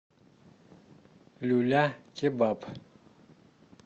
люля кебаб